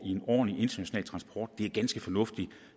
ordentlig international transport det er ganske fornuftigt